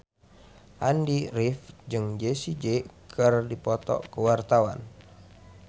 Andy rif jeung Jessie J keur dipoto ku wartawan